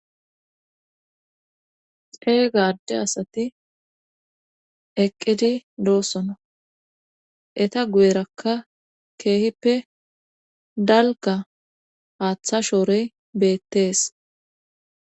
Xee gaadde asati eqqidi doossona eta guyerakka keehippe dalka haaththa shoorey beettees